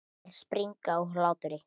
Þær springa úr hlátri.